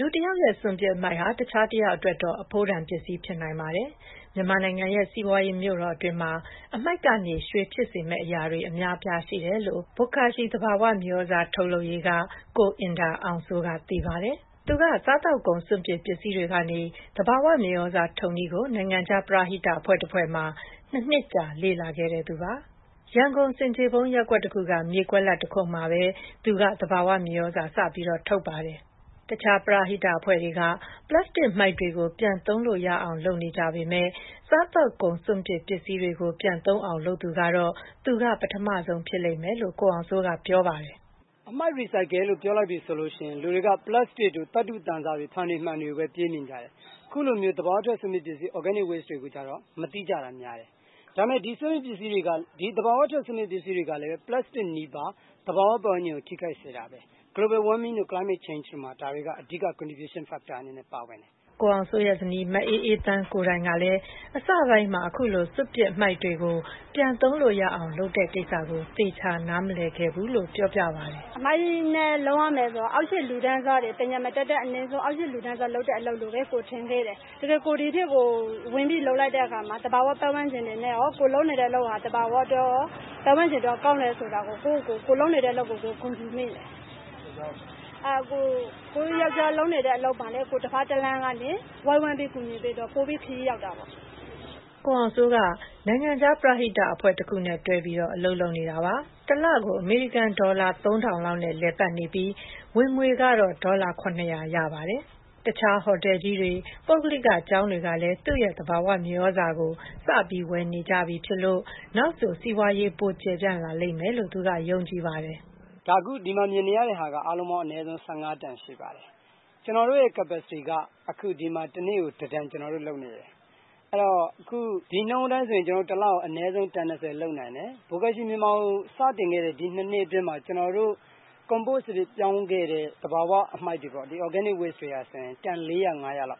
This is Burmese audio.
လူတယောက်ရဲ့စွန့်ပစ်အမှိုက်ဟာ တခြားတယောက်အတွက်တော့ အဖိုးတန်ပစ္စည်းဖြစ်နိုင်ပါတယ်။ မြန်မာနိုင်ငံရဲ့စီးပွားရေးမြို့တော်အတွင်းမှာ အမှိုက်ကနေ ရွှေဖြစ်စေမယ့်အရာတွေ အများအပြားရှိတယ်လို့ ဘွတ်ကာရှီ သဘာဝမြေသြဇာထုတ်လုပ်ရေး က ကိုအင်ဒါ အောင်စိုးက သိပါတယ်။ သူက စားသောက်ကုန်စွန့်ပစ်ပစ္စည်းတွေကနေ သဘာဝမြေသြဇာထုတ်နည်းကို နိုင်ငံခြား ပရဟိတအဖွဲ့တဖွဲ့မှာ ၂ နှစ်ကြာ လေ့လာခဲ့သူပါ။ ရန်ကုန် ဆင်ခြေဖုံးရပ်ကွက်တခုက မြေကွက်လွတ်မှာပဲ သူက သဘာဝမြေသြဇာထုတ်ပါတယ်။ တခြား ပရဟိတအဖွဲ့တွေက ပလပ်စတစ်မှိုက်တွေကို ပြန်သုံးလို့ရအောင်လုပ်နေကြပေမယ့် စားသောက်ကုန် စွန့်ပစ်ပစ္စည်းတွေကို ပြန်သုံးနိုင်အောင်လုပ်သူကတော့ သူက ပထမဆုံးဖြစ်လိမ့်မယ်လို့ ကိုအောင်စိုးက ပြောပါတယ်။ “ အမှိုက် Recycle လို့ပြောလိုက်ပြီဆိုရင် လူတွေက ပလပ်စတစ်တို့ သတ္တုသံစတို့ ဖန်တွေ မှန်တွေကိုပဲ ပြေးမြင်ကြတယ်။ အခုလိုမျိုး သဘာ၀ စွန့်ပစ်ပစ္စည်း organic waste တွေကို မသိတာများတယ်။ ဒါပေမယ့် သဘာဝထွက် စွန့်ပစ်ပစ္စည်းတွေကလည်း ပလပ်စတစ် နည်းပါး သဘာဝပတ်ဝန်းကျင်ကို ထိခိုက်စေတာပဲ Global warming တို့ Climate change တို့မှာ ဒါတွေက အဓိက contribution factor အနေနဲ့ ပါဝင်တယ်။ ” ကိုအောင်စိုးရဲ့ဇနီး မအေးအေးသန်းကိုယ်တိုင်ကလည်း အစပိုင်းမှာ အခုလို စွန့်ပစ်မှိုက်တွေကို ပြန်သုံးလို့ရအောင်လုပ်နေတဲ့ကိစ္စကို သေချာ နားမလည်ခဲ့ကြောင်း ပြောပါတယ်။ “အမှိုက် နဲ့ လုပ်ရမယ်ဆိုတော့ အောက်ခြေလူတန်းစားတွေ ပညာမတတ်တဲ့လူတွေ လုပ်တဲ့ အလုပ်လို့ပဲ ကိုယ်ထင်ခဲ့တယ်။ ဒီလို လက်တွေ့လုပ်လိုက်တဲ့အခါမှာ သဘာဝပတ်ဝန်းကျင်အတွက်ရော ကိုယ်လုပ်နေတဲ့အလုပ်က ပတ်ဝန်းကျင်အတွက်ကောင်းတယ်ဆိုတာ ကိုယ်လုပ်နေတဲ့ အလုပ်ကို ဂုဏ်ယူမိတယ်။ ကိုယ်လုပ်နေတဲ့အလုပ်က ဘာလဲ ကိုယ်တဖက်တလှမ်းကနေ ဝိုင်းဝန်းကူညီပေးတော့ ပိုပြီးခရီးရောက်တာပေါ့။” ကိုအောင်စိုးက နိုင်ငံခြားပရဟိတအဖွဲ့တခုနဲ့တွဲပြီး အလုပ်လုပ်နေတာပါ။ တလကို အမေရိကန်ဒေါ်လာ ၃ ထောင်လောက်နဲ့ လည်ပတ်နေပြီး ဝင်ငွေကတော့ ဒေါ်လာ ၇၀၀ လောက်ရပါတယ်။ တခြား ဟိုတယ်ကြီးတွေ၊ ပုဂ္ဂလိကကျောင်းတွေကလည်း သူ့ရဲ့သဘာဝမြေသြဇာကို စပြီး ဝယ်နေကြပြီဖြစ်လို့ နောက်ဆို စီးပွါးရေး ပိုကျယ်ပြန့်လာမယ်လို့သူက ယုံကြည်ပါတယ်။ “အခု ဒီမှာ မြင်နေရတာက အားလုံးအနည်းဆုံး ၁၅ တန်ရှိပါတယ်။ ကျနော်တို့ capacity က တနေ့ကို ကျနော်တို့ ၁ တန်လုပ်နေတယ်။ အဲဒီတော့ ဒီနှုန်းအတိုင်းဆိုရင် ကျနော်တို့ တလကို အနည်းဆုံး တန် ၂၀ လုပ်နိုင်တယ်။ ဒါ စတင်ခဲ့တဲ့ ဒီ ၂ နှစ်အတွင်းမှာ ကျနော်တို့ compose ပြောင်းခဲ့တဲ့ သဘာဝအမှိုက်တွေပေါ့လေ တန် ၄၀၀-၅၀၀ လောက်